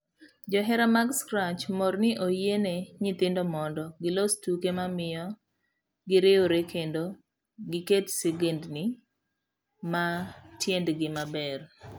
Johera mag Scratch mor ni oyie ne nyithindo mondo gilos tuke mamiyo giriwre kendo giketo sigendni ma tiendgi maber.